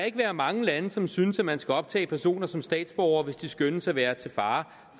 ikke være mange lande som synes at man skal optage personer som statsborgere hvis de skønnes at være til fare